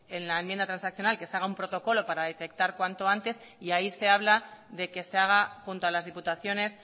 en la enmienda transaccional que se haga un protocolo para detectar cuanto antes y ahí se habla de que se haga junto a las diputaciones